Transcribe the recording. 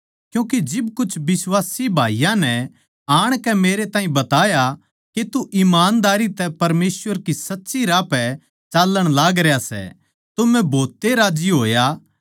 क्यूँके जिब कुछ बिश्वासी भाईयाँ नै आणकै मेरे ताहीं बताया के तू ईमानदारी तै परमेसवर के सच्चे राह पै चाल्लण लागरया सै तो मै भोत ए राज्जी होया